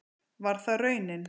Var það raunin?